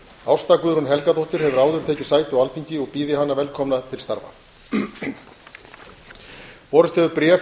ásta guðrún helgadóttir hefur áður tekið sæti á alþingi og býð ég hana velkomna til starfa